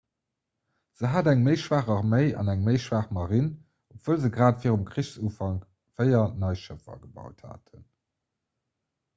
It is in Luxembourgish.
se hat eng méi schwaach arméi an eng méi schwaach marine obwuel se grad virum krichsufank véier nei schëffer gebaut haten